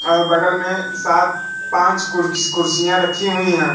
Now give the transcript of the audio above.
और बगल में सात पांच कुर्कीस कुर्सियां रखी हुई हैं।